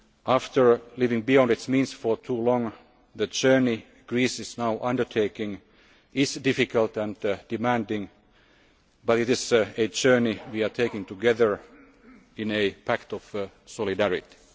the euro. After living beyond its means for too long, the journey Greece is now undertaking is difficult and demanding, but it is a journey we are taking together in a pact of